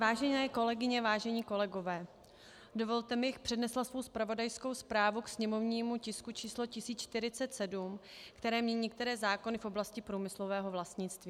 Vážené kolegyně, vážení kolegové, dovolte mi, abych přednesla svou zpravodajskou zprávu k sněmovnímu tisku číslo 1047, který mění některé zákony v oblasti průmyslového vlastnictví.